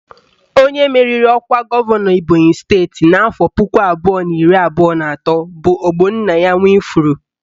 Onye meriri ọkwa gọvanọ Ebonyị steeti nke afọ puku abụọ na iri abụọ na atọ bụ Ogbonnaya Nwifuru